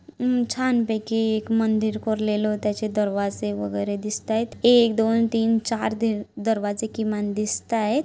हम्म छान पैकी एक मंदिर कोरलेलो त्याचे दरवाजे वगैरे दिस्तायत एक दोन तीन चार दीरवाजे किमान दिसताय.